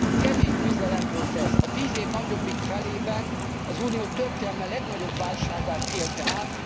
Kemény küzdelem volt ez, a tíz év nagyobbik felében az Unió történelme legnagyobb válságát élte át.